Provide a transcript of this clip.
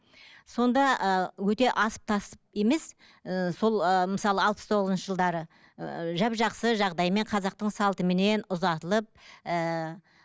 сонда ііі өте асып тасып емес ііі сол ыыы мысалы алпыс тоғызыншы жылдары ыыы жап жақсы жағдаймен қазақтың салтыменен ұзатылып ііі